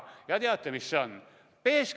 Ja teate, mis see on?